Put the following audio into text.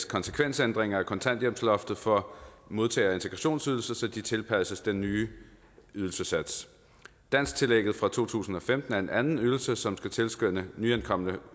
konsekvensændringer af kontanthjælpsloftet for modtagere af integrationsydelse så de tilpasses den nye ydelsessats dansktillægget fra to tusind og femten er en anden ydelse som skal tilskynde nyankomne